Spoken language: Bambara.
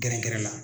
Gɛrɛgɛrɛ la